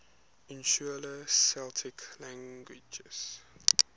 insular celtic languages